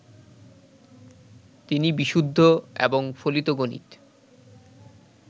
তিনি বিশুদ্ধ এবং ফলিত গণিত